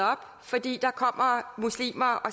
fordi der kommer muslimer og